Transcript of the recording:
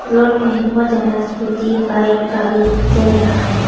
Road में बहुत ज्यादा स्कूटी बाइक गाड़ी चल रहा हैं।